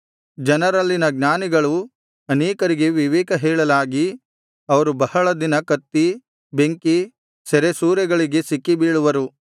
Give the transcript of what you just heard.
ಜನರಲ್ಲಿನ ಜ್ಞಾನಿಗಳು ಅನೇಕರಿಗೆ ವಿವೇಕ ಹೇಳಲಾಗಿ ಅವರು ಬಹಳ ದಿನ ಕತ್ತಿ ಬೆಂಕಿ ಸೆರೆಸೂರೆಗಳಿಗೆ ಸಿಕ್ಕಿ ಬೀಳುವರು